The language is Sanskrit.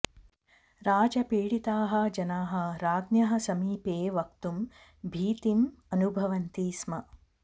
राजपीडिताः जनाः राज्ञः समीपे वक्तुं भीतिम् अनुभवन्ति स्म